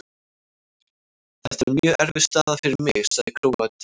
Þetta er mjög erfið staða fyrir mig, sagði Króatinn.